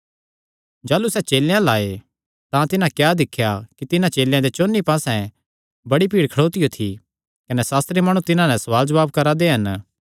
जाह़लू सैह़ चेलेयां अल्ल आये तां तिन्हां क्या दिख्या कि तिन्हां चेलेयां दे चौंन्नी पास्से बड़ी भीड़ खड़ोतियो थी कने सास्त्री माणु तिन्हां नैं सवाल जवाब करा दे हन